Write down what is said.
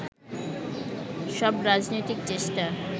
সব রাজনৈতিক চেষ্টা